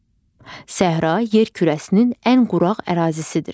Səhra yer kürəsinin ən quraq ərazisidir.